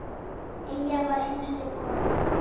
Eyja var einstök kona.